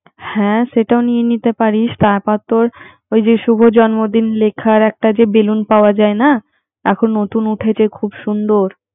হ্যা সেটাও নিয়ে নিতে পারিসতারপর তোর সুভ জন্মদিন লেখার একটা যে বেলুন পাওয়া নাএখন নতুন উঠেছে খুব সুন্দর